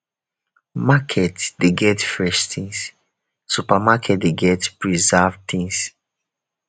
market de get fresh things supermarket de get preserved things